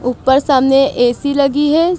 ऊपर सामने ऐ_सी लगी है।